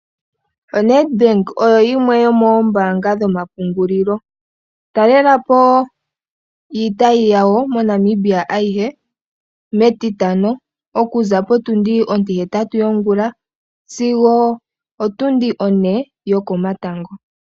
ONedbank oyo yimwe yomoombanga dhoma pungulilo. Talela po iitayi yawo mo Namibia ayihe metitano okuza potundi ontihetatu yongula zigo otundi one yokomatango.